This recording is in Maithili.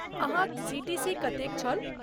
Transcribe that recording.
अहाँक सी.टी.सी. कतेक छल?